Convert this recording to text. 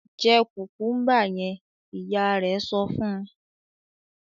"Jẹ kùkúḿbà yẹn!" Ìyá rẹ̀ sọ fún un.